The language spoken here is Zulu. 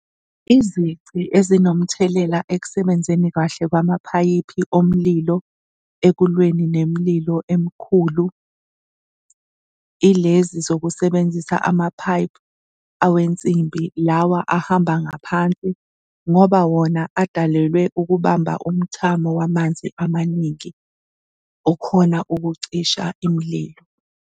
Izici ezinomthelela ekusebenzeni kahle kwamaphayiphi omlilo ekulweni nemililo emkhulu ilezi zokusebenzisa amaphayiphi awensimbi, lawa ahamba ngaphansi ngoba wona adalelwe ukubamba umthamo wamanzi amaningi okhona ukucisha imililo.